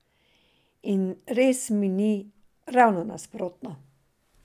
In res mi ni, ravno nasprotno!